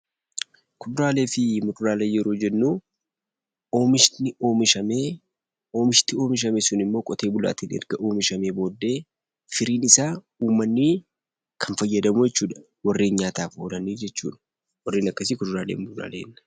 Kuduraalee fi muduraalee yeroo jennu, oomishni oomishamee oomishti oomishame sun immoo qotee bulaatiin erga oomishamee booddee firiin isaa ummanni kan fayyadamu jechuu dha. Warreen nyaataaf oolanii jechuu dha. Warreen akkasii Kuduraalee fi muduraalee jenna.